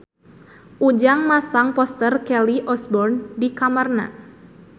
Ujang masang poster Kelly Osbourne di kamarna